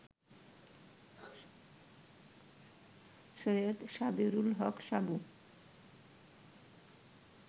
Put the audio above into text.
সৈয়দ সাবেরুল হক সাবু